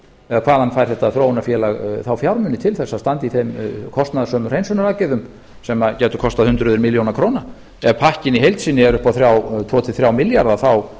eða hvaðan fær þetta þróunarfélag þá fjármuni til að standa í þeim kostnaðarsömu hreinsunaraðgerðum sem gætu kostað hundruð milljóna króna ef pakkinn í heild sinni er upp á tveimur til þriggja milljarða þá